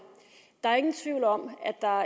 der er ingen tvivl om at der